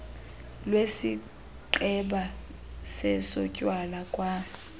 lwesigqeba sezotywala kwa